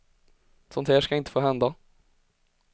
Sånt här ska inte få hända.